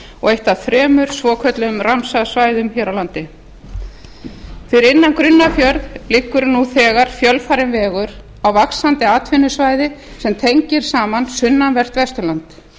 og eitt af þremur svokölluðum ramsar svæðum hér á landi fyrir innan grunnafjörð liggur nú þegar fjölfarinn vegur á vaxandi atvinnusvæði sem tengir saman sunnanvert vesturland